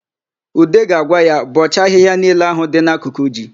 Ude ga-agwa ya, "bọọchaa ahịhịa niile ahụ dị n'akụkụ ji"!